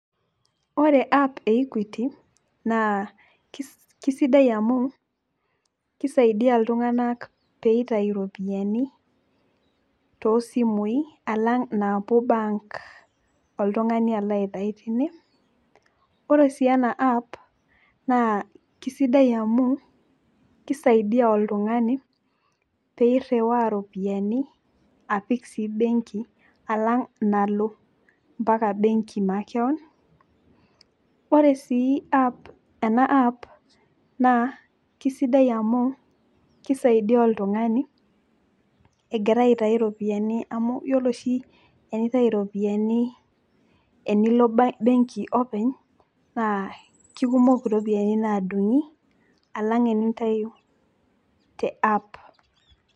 ore app e equity naa kisidai amu kisaidia iltunganak, pee eitayu iropiyiani, too simui alang inaapuo bank oltungani alo aitayu teine, ore sii ena app naa kisidai amu, kisaidia oltungani pee iriwaa iropiyiani, apik sii benki alang nalo, mpaka benki makewon, ore sii ena app naa kisidai amu kisaidia oltungani, egira aitayu iropiyiani. amu ore oshi tenintayu iropiyiani, enilo benki openy. naa kikumok iropiyiani naadung'i alang' enintayu te app